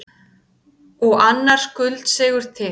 Og annar skuldseigur til.